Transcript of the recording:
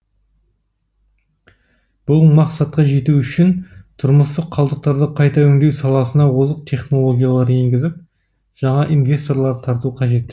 бұл мақсатқа жету үшін тұрмыстық қалдықтарды қайта өңдеу саласына озық технологиялар енгізіп жаңа инвесторлар тарту қажет